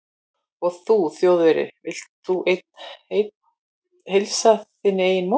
Og þú Þjóðverji, vilt þú einn heilsa þinni eigin móður